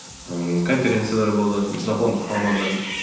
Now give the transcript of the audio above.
ііі конференциялар болды жапондық мамандармен